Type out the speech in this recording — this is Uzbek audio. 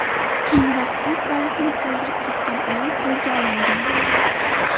Keyinroq o‘z bolasini qoldirib ketgan ayol qo‘lga olingan.